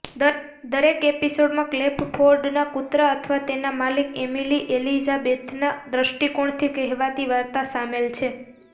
દરેક એપિસોડમાં ક્લેફફોર્ડના કૂતરા અથવા તેના માલિક એમિલી એલિઝાબેથના દ્રષ્ટિકોણથી કહેવાતી વાર્તા સામેલ છે